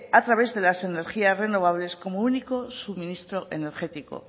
a través de las energías renovables como único suministro energético